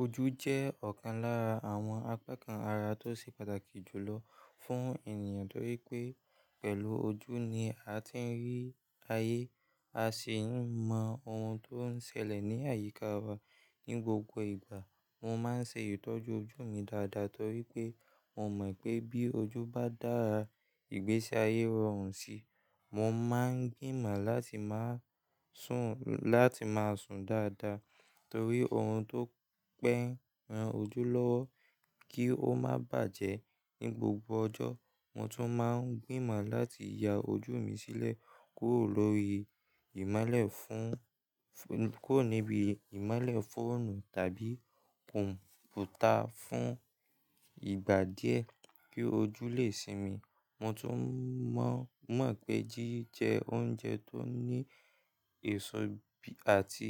Ojú jẹ́ ọ̀kan lára àwọn apá kan ara tó ṣe pàtàkì jù lọ fún ènìyàn torí pé pẹ̀lú ojú ni a ti ń rí ayé, a sì ń mọ ohun tó ń ṣẹlẹ̀ ní àyíká wa. Ni gbogbo ìgbà mo máa ń ṣe ìtọ́jú ojú mi dáadáa torí pé mo mọ̀ pé bí ojú bá dára, ìgbésí ayé rọrùn sí i. Mo máa ń gbìmọ̀ láti máa sùn láti máa sùn dáadáa torí ohun tó pẹ́ ran ojú lọ́wọ́ kí ó má bàjẹ́ ní gbogbo ọjọ́. Mo tún máa ń gbìmọ̀ láti ya ojú mi sílẹ̀ kúrò lórí ìmálẹ̀ fún, kúrò níbi ìmálẹ̀ fóònù tàbí kọ̀m̀pútà fún ìgbà díẹ̀ kí ojú lè sinmi. Mo tún mọ̀ pé jíjẹ oúnjẹ tó ní èso bí àti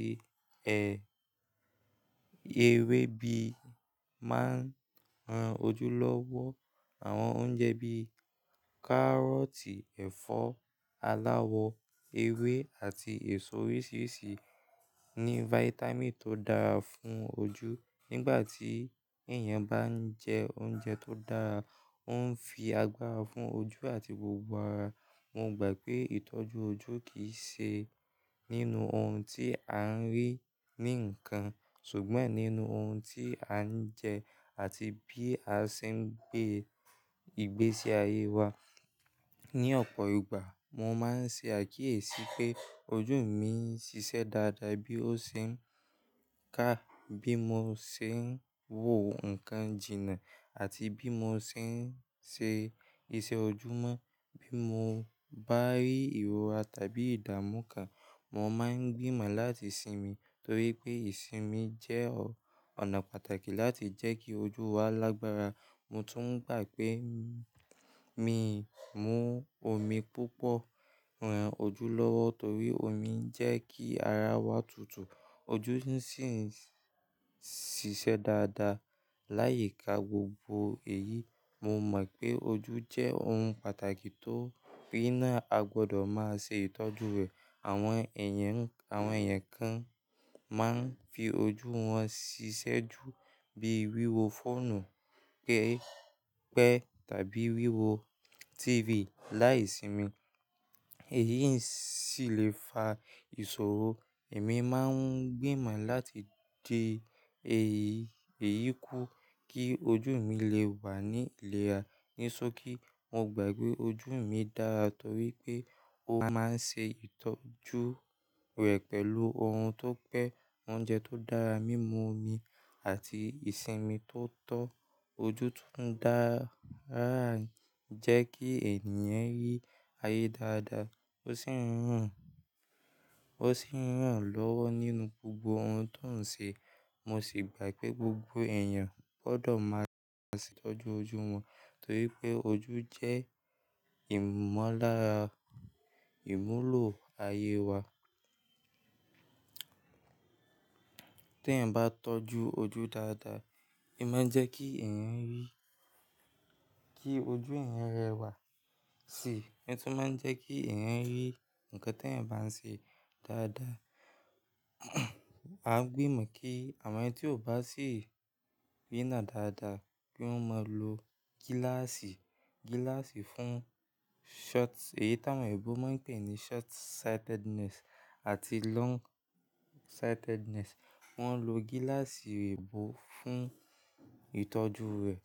ẹ, ewé bí máa ń ran ojú lọ́wọ́. Àwọn oúnjẹ bí kárọ̀tì, ẹ̀fọ́ aláwọ ewé àti èso oríṣiríṣi ní vítámìn tó dára fún ojú. Nígbà tí èèyàn bá ń jẹ oúnjẹ tó dára, ó ń fi agbára fún ojú àti gbogbo ara. Mo gbà pé ìtọ́jú ojú kì í ṣe nínú ohun tí à ń rí ní nǹkan ṣùgbọ́n nínú ohun tí à ń jẹ àti bí a ṣe ń gbé ìgbésí ayé wa. Ni ọ̀pọ̀ ìgbà mo máa ń ṣe àkíyèsí pé ojú mi ń ṣiṣẹ́ dáadáa bí ó ṣe ń ká, bí mo ṣe ń wò nǹkan jìnnà àti bí mo ṣe ń ṣe iṣẹ́ ojúmọ́. Bí mo bá rí ìrora tàbí ìdàmú kà, mo máa ń gbìmọ̀ láti sinmi torí pé ìsinmi jẹ́ ọ̀nà pàtàkì láti jẹ́ kí ojú wa lágbára. Mo tún gbà pé mí mú omi púpọ̀ ran ojú lọ́wọ́ torí omi ń jẹ́ kí ara wa tutù, ojú sì ń ṣiṣẹ́ dáadáa. Láyi ká gbogbo èyí, mo mọ̀ pé ojú jẹ́ ohun pàtàkì tó rínà. A gbọdọ̀ máa ṣe ìtọ́jú rẹ̀. Àwọn èèyàn, àwọn èèyàn kan máa ń fi ojú wọn ṣiṣẹ́ jù bí wíwo fóònù pẹ́, pẹ́ tàbí wíwo TV láìsinmi, èyí sì le fa ìṣòro. Èmi máa ń gbìmọ̀ láti de èyí, èyí kú kí ojú mi lè wà ní ìlera. Níṣọ́kí mo gbà pé ojú mi dára torí pé ó máa ń ṣe ìtọ́jú rẹ̀ pẹ̀lú ohun tó pẹ́, oúnjẹ tó dára, mímu omi àti ìsinmi tó tọ́. Ojú tun ń dára ń jẹ́ kí ènìyàn rí ayé dáadáa ó sì ń ràn, ó sì ń ràn lọ́wọ́ nínú gbogbo ohun tó ń ṣe. Mo sì gbà pé gbogbo èèyàn gbọdọ̀ máa ṣe ìtọ́jú ojú wọn torí pé ojú jẹ́ ìmúlọ̀ ayé wa. Tí ẹ̀eyan bá tọ́jú ojú dáadáa, ẹ máa ń jẹ́ kí ẹ̀eyan ń rí, kí ojú ẹ̀eyan rẹwà sì, ẹ sì máa ń jẹ́ kí ẹ̀eyan ń rí nǹkan tí ẹ̀eyan bá ń ṣe dáadáa. A gbìmọ̀ kí àwọn ẹni tí ò bá sì rínà dáadáa pé wọ́n máa lo gíláàsì, gíláàsì fún short-- èyí táwọn ẹ̀ebọ́ máa ń pè ní short sightedness àti long sightedness. Wọ́n lo gíláàsì ẹ̀ebọ́ fún ìtọ́jú rẹ̀.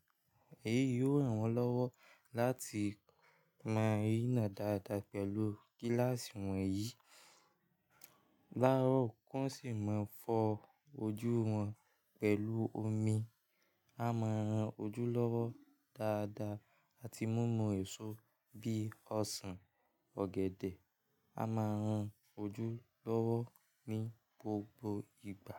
Èyí yóò ranwon lọ́wọ́ láti máa rínà dáadáa pẹ̀lú gíláàsì wọ̀nyí. Láró kiwon sì máa ń fọ ojú wọn pẹ̀lú omi. A máa ń ran ojú lọ́wọ́ dáadáa àti mímu èso bí ọsàn, ọ̀gẹ̀dẹ̀. A máa ń ran ojú lọ́wọ́ ní gbogbo ìgbà.